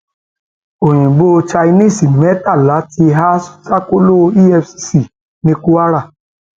oyinbo chinese mẹtàlá ti há sákòlọ efcc ní kwara